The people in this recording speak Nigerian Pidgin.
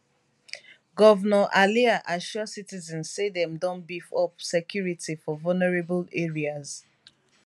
govnor alia assure citizen say dem don beef up security for vulnerable areas